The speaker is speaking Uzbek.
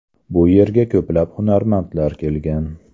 Bu yerga ko‘plab hunarmandlar kelgan.